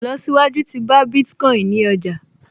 Ìlọsíwájú tí bá Bitcoin ní ọjà